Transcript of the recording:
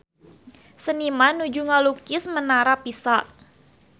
Seniman nuju ngalukis Menara Pisa